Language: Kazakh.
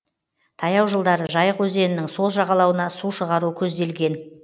таяу жылдары жайық өзенінің сол жағалауына су шығару көзделген